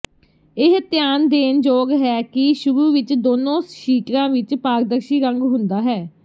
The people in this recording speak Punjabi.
ਇਹ ਧਿਆਨ ਦੇਣ ਯੋਗ ਹੈ ਕਿ ਸ਼ੁਰੂ ਵਿਚ ਦੋਨੋ ਸ਼ੀਟਰਾਂ ਵਿਚ ਪਾਰਦਰਸ਼ੀ ਰੰਗ ਹੁੰਦਾ ਹੈ